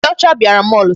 Ndị ọcha bịara mall taa.